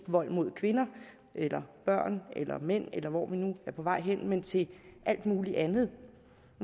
vold mod kvinder eller børn eller mænd eller hvor vi nu er på vej hen men til alt muligt andet